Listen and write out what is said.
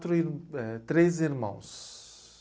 Tre éh... Três irmãos.